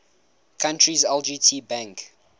country's lgt bank